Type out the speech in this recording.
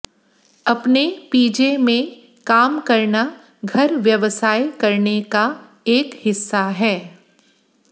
अपने पीजे में काम करना घर व्यवसाय करने का एक हिस्सा है